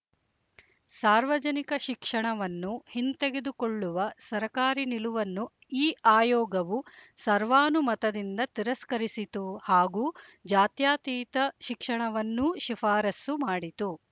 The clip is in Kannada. ಸಾರ್ವಜನಿಕ ಶಿಕ್ಷಣವನ್ನು ಹಿಂತೆಗೆದುಕೊಳ್ಳುವ ಸರಕಾರಿ ನಿಲುವನ್ನು ಈ ಆಯೋಗವು ಸರ್ವಾನುಮತದಿಂದ ತಿರಸ್ಕರಿಸಿತು ಹಾಗೂ ಜಾತ್ಯತೀತ ಶಿಕ್ಷಣವನ್ನೂ ಶಿಫಾರಸ್ಸು ಮಾಡಿತು